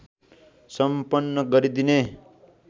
सम्पन्न गरिदिने